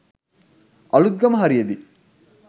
Aluthgama හරියෙදි